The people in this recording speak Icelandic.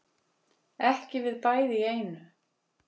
Ekki við bæði í einu